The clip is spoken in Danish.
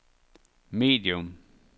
medium